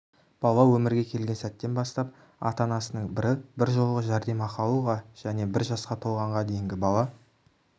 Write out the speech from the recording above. бала өмірге келген сәттен бастап ата-анасының бірі біржолғы жәрдемақы алуға және бір жасқа толғанға дейінгі бала